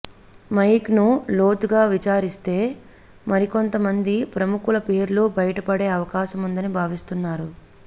mic ను లోతుగా విచారిస్తే మరికొంత మంది ప్రముఖుల పేర్లు బయటపడే అవకాశముందని భావిస్తున్నారు